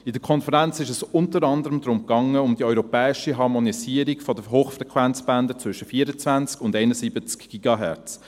An der Konferenz ging es unter anderem um die europäische Harmonisierung von Hochfrequenzbändern zwischen 24 und 71 Gigahertz (GHz).